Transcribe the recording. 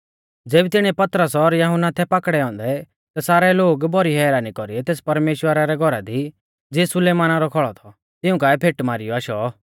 ज़ेबी तिणीऐ पतरस और यहुन्ना थै पाकड़ै औन्दै ता सारै लोग भौरी हैरानी कौरीऐ तेस परमेश्‍वरा रै घौरा दी ज़िऐ सुलेमाना रौ खौल़ौ थौ तिऊं काऐ फेटी मारीयौ आशै